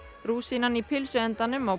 rúsínan í pylsuendanum á